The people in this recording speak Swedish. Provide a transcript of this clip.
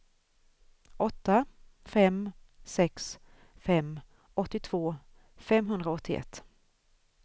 åtta fem sex fem åttiotvå femhundraåttioett